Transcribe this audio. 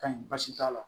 Ka ɲi baasi t'a la